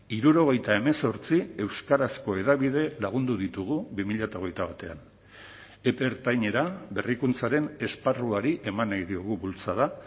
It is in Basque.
hirurogeita hemezortzi euskarazko hedabide lagundu ditugu bi mila hogeita batean epe ertainera berrikuntzaren esparruari eman nahi diogu bultzada